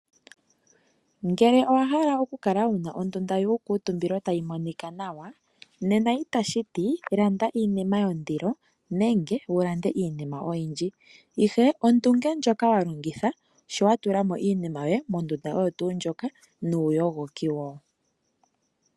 Ngele owahala okukala wuna ondunda yuukutumbilo tayi monika nawa nena itashiti landa iinima yondilo nenge landa iinima oyindji ,ihe ondunge ndjoka wa longitha sho watula mo iinima yoye mondunda oyo tuu ndjoka nuuyogoki wo.